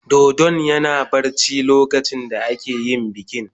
Dodon yana barci lokacin da ake yin bikin.